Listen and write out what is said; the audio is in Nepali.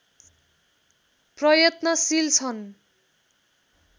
प्रयत्नशील छन्